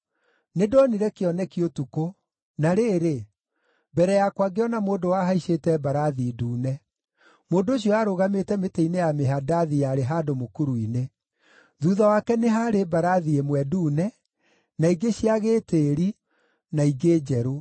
Nĩndonire kĩoneki ũtukũ, na rĩrĩ, mbere yakwa ngĩona mũndũ wahaicĩte mbarathi ndune! Mũndũ ũcio aarũgamĩte mĩtĩ-inĩ ya mĩhandathi yarĩ handũ mũkuru-inĩ. Thuutha wake nĩ haarĩ mbarathi ĩmwe ndune, na ingĩ cia gĩĩtĩĩri na ingĩ njerũ.